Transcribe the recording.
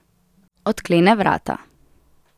Odklene vrata.